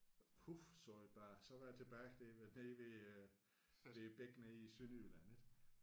Puf sagde det bare så var jeg tilbage da vi var nede ved øh ved bækken nede i Sønderjylland ik